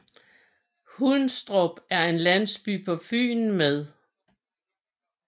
Hundstrup er en landsby på Fyn med